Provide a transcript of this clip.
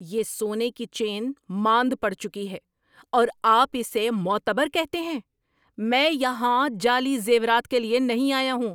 یہ سونے کی چین ماند پڑ چکی ہے اور آپ اسے معتبر کہتے ہیں؟ میں یہاں جعلی زیورات کے لیے نہیں آیا ہوں!